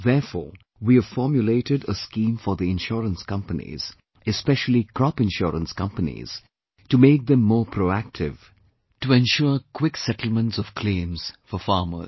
Therefore, we have formulated a scheme for the insurance companies, especially crop insurance companies, to make them more proactive, to ensure quick settlements of claims for farmers